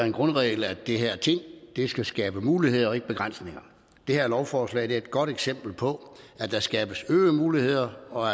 en grundregel at de her ting skal skabe muligheder og ikke begrænsninger det her lovforslag er et godt eksempel på at der skabes øgede muligheder og